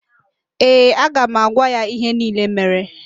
Ee, aga m agwa ya ihe niile mere